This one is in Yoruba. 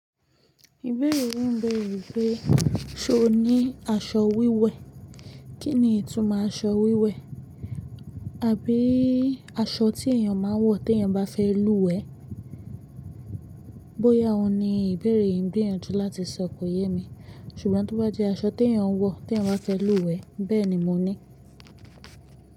Ìbéèrè yín béèrè wípé, ṣo ní aṣọ wíwẹ̀? Kí ni ìtumọ̀ aṣọ wíwẹ̀? Àbí aṣọ tí èyàn ma ń wọ tí èyàn bá fẹ́ lúwẹ̀ẹ́? Bóyá òun ni ìbéèrè yìí gbìyànjú láti sọ kò yé mi, ṣùgbọ́n tó bá jẹ́ aṣọ tí èyàn ń wọ tí èyàn bá fẹ́ lúwẹ̀ẹ́, bẹ́ẹ̀ni mo ní.